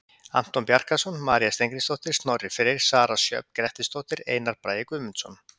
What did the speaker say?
Anton Bjarkarson, María Steingrímsdóttir, Snorri Freyr, Sara Sjöfn Grettisdóttir, Einar Bragi Guðmundsson.